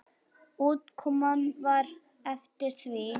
Útkoman var eftir því.